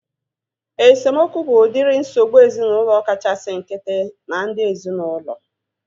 Esemokwu bụ udiri nsogbu ezinaụlọ kachasị nkịtị na ndị ezinaụlọ